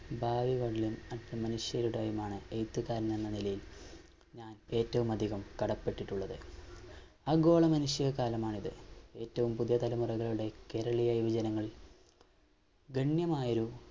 യും അവിടുത്തെ മനുഷ്യരുടേയുമാണ് എഴുത്തുകാരനെന്ന നിലയിൽ ഞാൻ ഏറ്റവും അധികം കടപ്പെട്ടിട്ടുള്ളത് ആ നിമിഷ കാലമാണിത് ഏറ്റവും പുതിയ തലമുറകളുടെ കേരളീയ വിഭജനങ്ങൾ ഗണ്യമായൊരു